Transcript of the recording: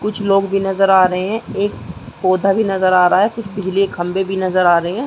कुछ लोग भी नज़र आ रहे हैं। एक पौधा भी नज़र आ रहा है। कुछ बिजली के खम्भे भी नज़र आ रहे हैं।